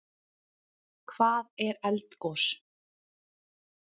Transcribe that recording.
Hvað er eldgos?